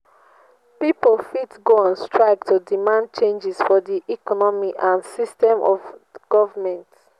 pipo fit go on strike to demand changes for di economy and system of government